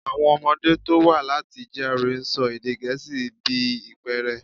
Àwọn ọmọdé tó wá láti GRA ń sọ èdè gẹ̀ẹ́sì bí ìpẹ́ẹ̀rẹ̀.